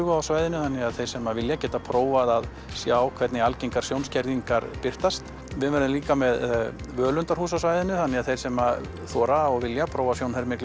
á svæðinu þannig að þeir sem vilja geta prófað að sjá hvernig algengar sjónskerðingar birtast við verðum líka með völundarhús á svæðinu þannig að þeir sem þora og vilja prófa